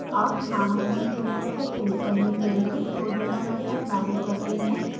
अब नामांकन विवरण को print करने के लिए showdata मैथड लागू करते हैं